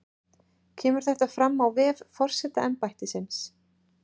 Kemur þetta fram á vef forsetaembættisins